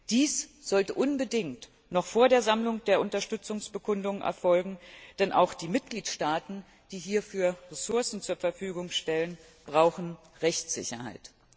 Dies sollte unbedingt noch vor der Sammlung der Unterstützungsbekundungen erfolgen, denn auch die Mitgliedstaaten, die hierfür Ressourcen zur Verfügung stellen, brauchen Rechtssicherheit.